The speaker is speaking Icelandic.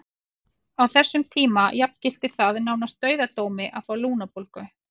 Á þessum tíma jafngilti það nánast dauðadómi að fá lungnabólgu.